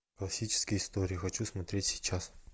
классические истории хочу смотреть сейчас